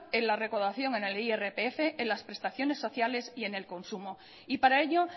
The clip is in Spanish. en la recaudación en el irpf en las prestaciones sociales y en el consumo y para ello